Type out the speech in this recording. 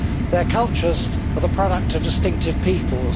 Their cultures are the product of distinctive peoples.